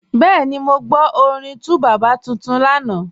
Bẹẹni, mọ́ gbọ́ orin 2Baba tuntun lánà.